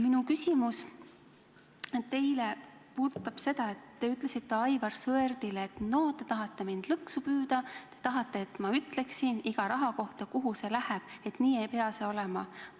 Minu küsimus teile puudutab seda, et te ütlesite Aivar Sõerdile, et no te tahate mind lõksu püüda, tahate, et ma ütleksin iga rahasumma kohta, kuhu see läheb, et nii ei pea see olema.